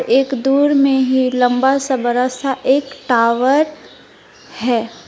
एक दूर में ही लंबा सा बड़ा सा एक टावर है।